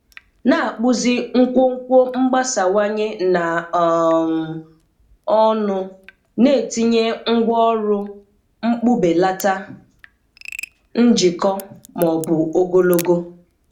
Na-akpụzi nkwonkwo mgbasawanye na um ọnụ, na-etinye ngwaọrụ mkpụbelata, njikọ, ma ọ bụ ogologo.